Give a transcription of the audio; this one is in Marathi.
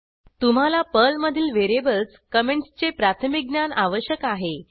तुम्हाला पर्लमधील व्हेरिएबल्स कॉमेंटसचे प्राथमिक ज्ञान आवश्यक आहे